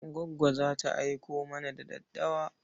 Goggo za ta aiko mana da daddawa.